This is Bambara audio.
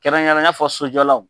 Kɛrɛnkɛrɛne i n'a fɔ sojɔlaw